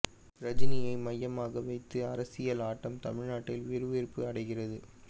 ரஜினியை மையமாக வைத்து அரசியல் ஆட்டம் தமிழ்நாட்டில் விறுவிறுப்பு அடைகிறது